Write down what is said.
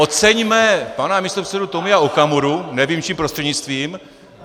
Oceňme pana místopředsedu Tomia Okamuru - nevím, čím prostřednictvím.